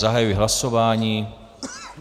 Zahajuji hlasování.